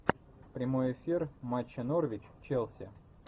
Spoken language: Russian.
прямой эфир матча норвич челси